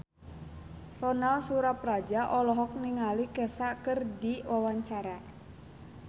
Ronal Surapradja olohok ningali Kesha keur diwawancara